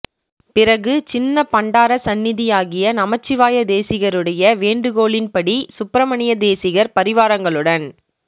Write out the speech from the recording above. பிறகு சின்னப் பண்டாரஸந்நிதியாகிய நமசிவாய தேசிகருடைய வேண்டு கோளின்படி சுப்பிரமணிய தேசிகர் பரிவாரங்களுடன்